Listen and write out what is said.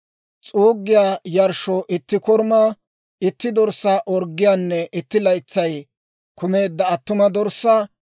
s'uuggiyaa yarshshoo itti korumaa, itti dorssaa orggiyaanne itti laytsay kumeedda attuma dorssaa;